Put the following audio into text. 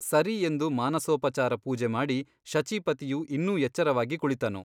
ಸರಿ ಎಂದು ಮಾನಸೋಪಚಾರ ಪೂಜೆ ಮಾಡಿ ಶಚೀಪತಿಯು ಇನ್ನೂ ಎಚ್ಚರವಾಗಿ ಕುಳಿತನು.